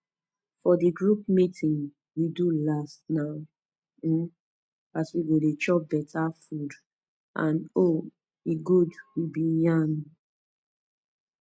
for the group meeting we do last na um as we go dey chop better food and ow e good we been yarn um